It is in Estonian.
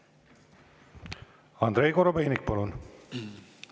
Andrei Korobeinik, palun!